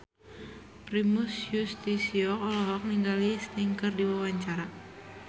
Primus Yustisio olohok ningali Sting keur diwawancara